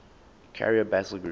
carrier battle group